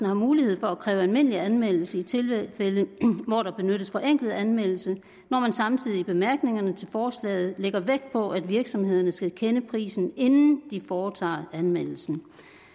har mulighed for at kræve almindelig anmeldelse i tilfælde hvor der benyttes forenklet anvendelse når man samtidig i bemærkningerne til forslaget lægger vægt på at virksomhedernes skal kende prisen inden de foretager anmeldelsen